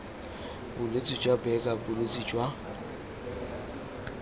bolwetse jwa buerger bolwetse jwa